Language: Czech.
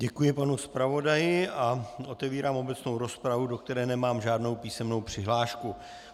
Děkuji panu zpravodaji a otevírám obecnou rozpravu, do které nemám žádnou písemnou přihlášku.